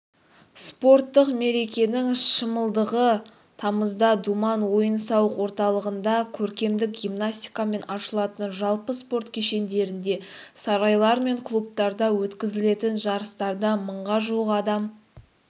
спорттық мерекенің шымылдығы тамызда думан ойын-сауық орталығында көркемдік гимнастикамен ашылады жалпы спорт кешендерінде сарайлар мен клубтарда өткізілетін жарыстарда мыңға жуық адам